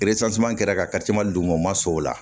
kɛra ka don o ma s'o la